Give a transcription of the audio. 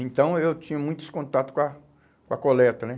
Então, eu tinha muitos contato com a com a coleta, né?